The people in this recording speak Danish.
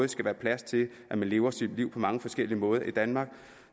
skal være plads til at man lever sit liv på mange forskellige måder i danmark